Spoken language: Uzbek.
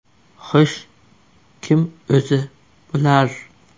Xo‘sh, kim o‘zi bular?